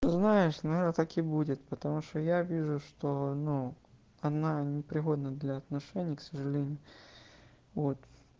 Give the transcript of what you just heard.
знаешь надо так и будет потому что я вижу что ну она непригодна для отношений к сожалению вот